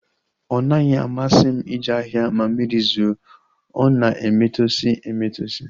Ọ naghị amasị m ije ahịa ma mmiri zoo, ọ na-emetọsi emetọsi